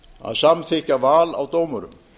að samþykkja val á dómurum